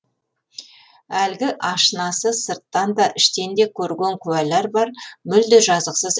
әлгі ашынасы сырттан да іштен де көрген куәлар бар мүлде жазықсыз